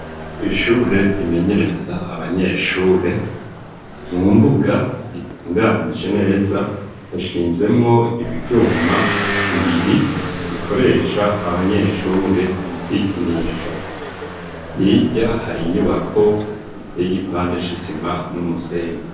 Kw'ishure rimenyereza abanyeshure mu mbuga ritunganije neza hashinzemwo ivyuma bibiri bikoresha abanyeshure mu kwikinisha hirya hari inyubako iteye igipande c'isima n'umusenyi.